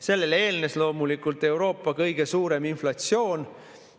Sellele eelnes loomulikult Euroopa kõige suurem inflatsioon.